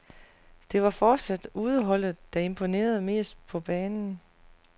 Det var fortsat udeholdet, der imponerede mest på banen.